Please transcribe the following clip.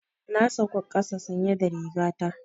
Na sauka ƙasa sanye da riga ta.